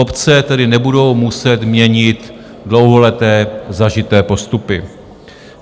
Obce tedy nebudou muset měnit dlouholeté zažité postupy.